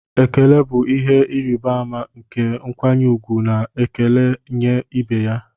Ekele bụ ihe ịrịba ama nke nkwanye ùgwù na ekele nye ibe ya